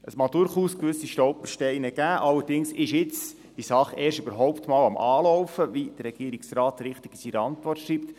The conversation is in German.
Es mag durchaus gewisse Stolpersteine geben, allerdings ist jetzt die Sache überhaupt einmal erst am Anlaufen, wie der Regierungsrat in seiner Antwort richtig schreibt.